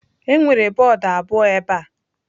Enwere bọọdụ abụọ ebe a.